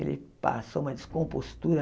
Ele passou uma descompostura